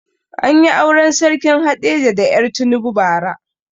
Anyi auren sarkin haɗeja da er tinubu ba ra